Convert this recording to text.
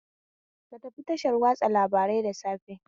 Ka tafi tashar watsa labarai da safe